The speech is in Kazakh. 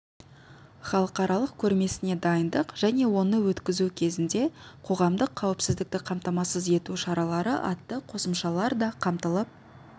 халықаралық көрмесіне дайындық және оны өткізу кезінде қоғамдық қауіпсіздікті қамтамасыз ету шаралары атты қосымшалар да қамтылып